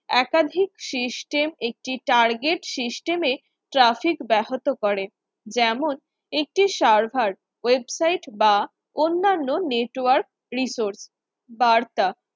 একাধিক system একটি target system এ traffic ব্যাহত করে যেমন একটি server website বা অন্যান্য Network resource বার্তা